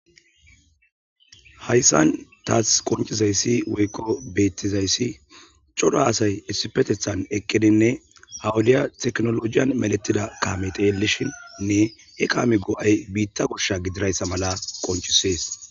Hayssan taas qoncizayssi woykko bettizayssi codo asay essifetethan eqqedinne hawodiya teknolojiyan meletida kaame teelishinnne he kaame go'ay biitta koshsha gidirayssa mala qonchisees.